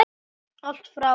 Allt frá